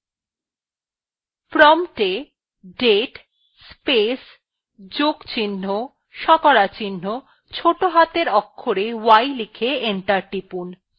prompt এ date space যোগ চিহ্ন শতকরা চিহ্ন ছোটো হাতের অক্ষরে y লিখে enter টিপুন